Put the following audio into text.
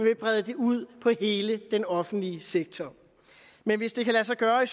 vil brede det ud på hele den offentlige sektor men hvis det kan lade sig gøre i